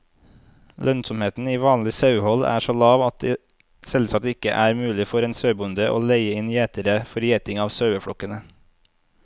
Lønnsomheten i vanlig sauehold er så lav at det selvsagt ikke er mulig for en sauebonde å leie inn gjetere for gjeting av saueflokkene.